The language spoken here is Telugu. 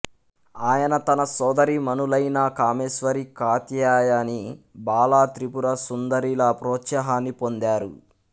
ఆయన తన సోదరీమణులైన కామేశ్వరి కాత్యాయని బాలాత్రిపురసుందరి ల ప్రోత్సాహాన్ని పొందారు